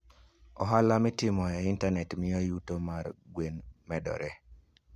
Ohala mitimo e Intanet miyo yuto mar gwen medore.